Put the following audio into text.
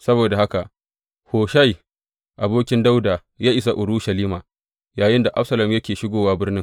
Saboda haka Hushai abokin Dawuda ya isa Urushalima yayinda Absalom yake shigowa birnin.